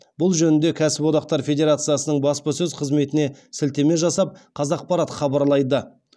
бұл жөнінде кәсіподақтар федерациясының баспасөз қызметіне сілтеме жасап қазақпарат хабарлайды